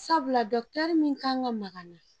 Sabula dɔkitɛri min kan ka na.